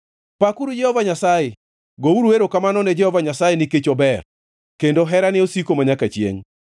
Pakuru Jehova Nyasaye! Gouru erokamano ne Jehova Nyasaye, nikech ober; kendo herane osiko manyaka chiengʼ.